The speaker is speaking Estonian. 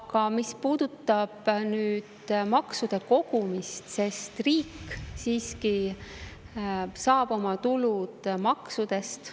Aga mis puudutab maksude kogumist, siis riik siiski saab oma tulud maksudest.